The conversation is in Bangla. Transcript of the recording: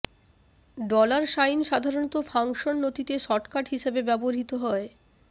ডলার সাইন সাধারণত ফাংশন নথিতে শর্টকাট হিসাবে ব্যবহৃত হয়